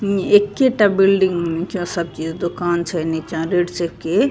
इ एकेटा बिल्डिंग नीचा सब के दुकान छै नीचा रेड चीफ के --